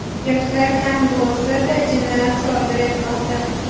Yoshlar kam bo‘lsa-da, jinoyat sodir etmoqda.